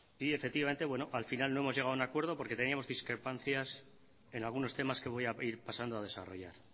y efectivamente bueno al final no hemos llegado a un acuerdo porque teníamos discrepancias en algunos temas que voy a ir pasando a desarrollar